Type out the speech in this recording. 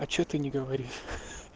а что ты не говоришь